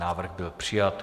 Návrh byl přijat.